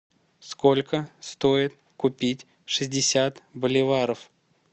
сколько стоит купить шестьдесят боливаров